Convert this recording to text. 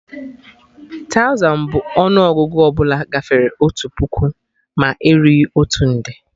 Tauzan bụ ọnụ Ọgụgụ ọbụla gafere otu puku ma erughị otu nde